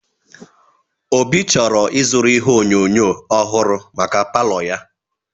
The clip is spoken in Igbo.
Obi chọrọ ịzụrụ ihe onyonyo ọhụrụ maka palo ya.